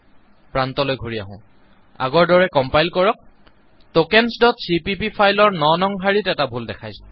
প্ৰান্তলৈ ঘূৰি আহো আগৰ দৰে কম্পাইল কৰক tokensচিপিপি ফাইলৰ ৯ নং শাৰীত এটা ভুল দেখাইছে